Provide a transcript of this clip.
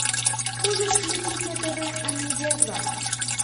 можешь включить на тв амедиа два